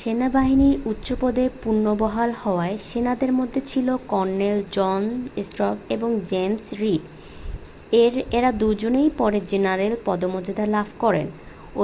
সেনাবাহিনীর উচ্চপদে পুনর্বহাল হওয়া সেনাদের মধ্যে ছিল কর্নেল জন স্টার্ক এবং জেমস রীড-এর এঁরা দুজনেই পরে জেনারেল পদমর্যাদা লাভ করেন